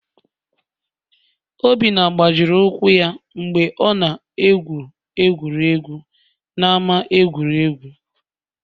Obinna gbajiri ụkwụ ya mgbe ọ na-egwu egwuregwu n'ama egwuregwu